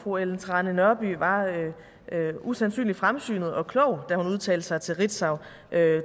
fru ellen trane nørby var usandsynlig fremsynet og klog da hun udtalte sig til ritzau